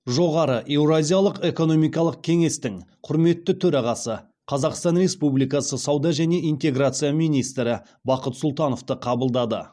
жоғары еуразиялық экономикалық кеңестің құрметті төрағасы қазақстан республикасы сауда және интеграция министрі бақыт сұлтановты қабылдады